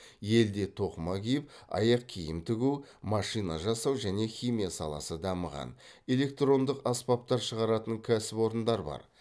елде тоқыма киім аяқ киім тігу машина жасау және химия саласы дамыған электрондық аспаптар шығаратын кәсіпорындар бар